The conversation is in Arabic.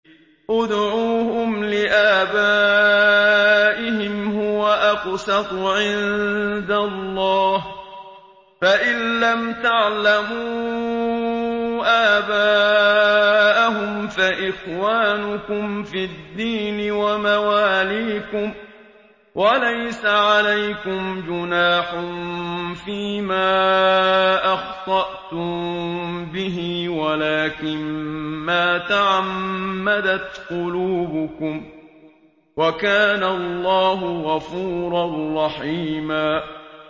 ادْعُوهُمْ لِآبَائِهِمْ هُوَ أَقْسَطُ عِندَ اللَّهِ ۚ فَإِن لَّمْ تَعْلَمُوا آبَاءَهُمْ فَإِخْوَانُكُمْ فِي الدِّينِ وَمَوَالِيكُمْ ۚ وَلَيْسَ عَلَيْكُمْ جُنَاحٌ فِيمَا أَخْطَأْتُم بِهِ وَلَٰكِن مَّا تَعَمَّدَتْ قُلُوبُكُمْ ۚ وَكَانَ اللَّهُ غَفُورًا رَّحِيمًا